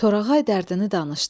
Torağay dərdini danışdı.